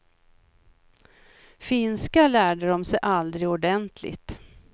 Finska lärde de sig aldrig ordentligt.